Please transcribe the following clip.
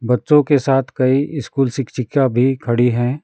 बच्चों के साथ कई स्कूल शिक्षिका भी खड़ी हैं।